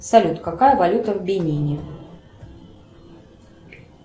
салют какая валюта в бенине